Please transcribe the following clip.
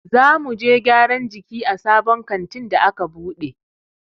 Za muje gyaran jiki a sabon kantin da a ka buɗe.